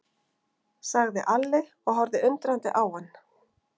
sagði Alli og horfði undrandi á hann.